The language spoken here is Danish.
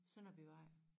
Sønderbyvej